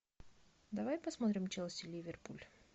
давай посмотрим челси ливерпуль